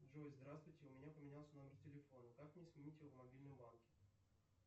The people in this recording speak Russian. джой здравствуйте у меня поменялся номер телефона как мне сменить его в мобильном банке